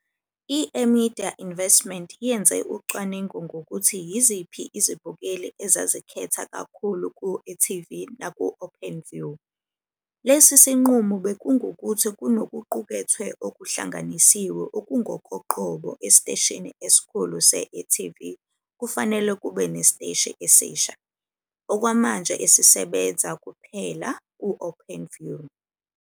I-eMedia Investment yenze ucwaningo ngokuthi yiziphi izibukeli ezazikhetha kakhulu ku-e TV naku-Openview. Lesi sinqumo bekungukuthi kunokuqukethwe okuhlanganisiwe okungokoqobo esiteshini esikhulu se-e.tv kufanele kube nesiteshi esisha, okwamanje esisebenza kuphela ku-Openview.